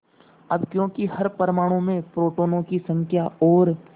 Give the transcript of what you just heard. अब क्योंकि हर परमाणु में प्रोटोनों की संख्या और